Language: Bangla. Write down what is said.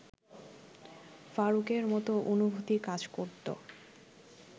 ফারুকের মতো অনুভূতি কাজ করত